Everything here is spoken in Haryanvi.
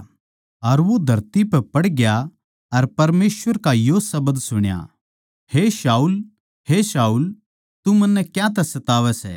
अर वो धरती पै पड़ग्या अर परमेसवर का यो शब्द सुण्या हे शाऊल हे शाऊल तू मन्नै क्यांतै सतावै सै